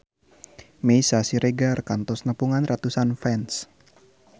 Meisya Siregar kantos nepungan ratusan fans